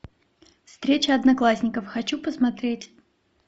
встреча одноклассников хочу посмотреть